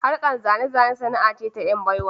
Harkar zane-zane sana'a ce ta "yan baiwa